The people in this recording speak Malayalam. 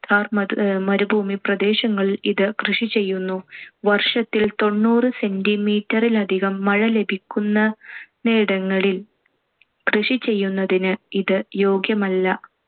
താർ മദ്~ മരുഭൂമി പ്രദേശങ്ങളിൽ ഇത് കൃഷി ചെയ്യുന്നു. വർഷത്തിൽ തൊണ്ണൂറ് centimeter ലധികം മഴ ലഭിക്കുന്നയിടങ്ങളിൽ കൃഷി ചെയ്യുന്നതിന്‌ ഇത് യോഗ്യമല്ല.